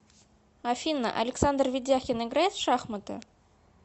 афина александр ведяхин играет в шахматы